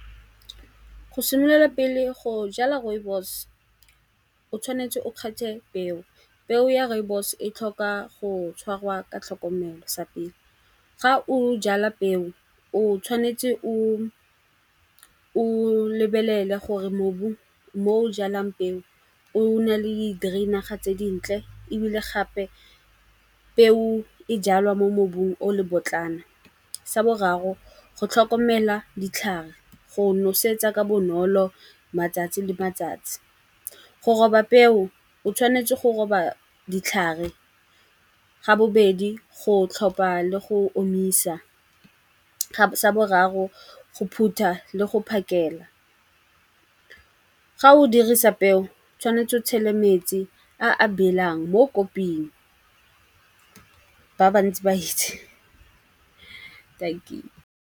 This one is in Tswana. Go simolola pele go jala rooibos o tshwanetse o kgethe peo. Peo ya rooibos e tlhoka go tshwarwa ka tlhokomelo sa pele. Ga o jala peo o tshwanetse o lebelele gore mobu mo o jalang peo o na le drain-naga tse dintle ebile gape peo e jalwa mo mobu o le bobotlana. Sa boraro go tlhokomela ditlhare, go nosetsa ka bonolo matsatsi le matsatsi. Go roba peo o tshwanetse go roba ditlhare, ga bobedi go tlhopa le go omisa, sa boraro go phutha le go phakela. Ga o dirisa peo tshwanetse o tshele metsi a a belang mo koping ba ba ntsi ba itse .